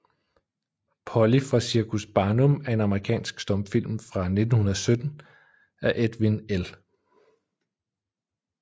Polly fra Cirkus Barnum er en amerikansk stumfilm fra 1917 af Edwin L